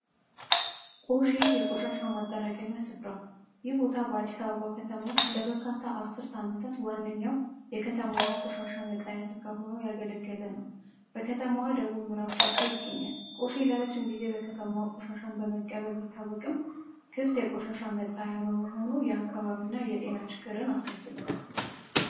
ቆሼ የቆሻሻ መጠራቀሚያ ስፍራ ይህ ቦታ በአዲስ አበባ ከተማ ውስጥ ለበርካታ 10 ዓመታት ዋነኛው የከተማዋ ቆሻሻ መጣያ ሲሆን እያገለገለ ነው በከተማዋ ደቡብ ምዕራብ ጫፍ ላይ ይገኛል ቆሼ ለረጅም ጊዜ የከተማውን ቆሻሻ በመቀበል ቢታወቅም የቆሻሻ መጣያ ቦታ በመሆኑ የጤና ችግር አስከትሏል።